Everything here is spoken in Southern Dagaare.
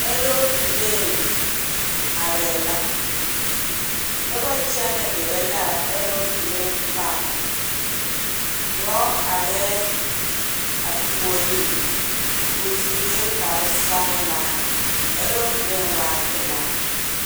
Saazu lɔr are la, noba kyɛne gerɛ la a saazu lɔr pare, dɔɔ are a puoriŋ o sue kpare sɔglaa a saazu lɔr waa pelaa.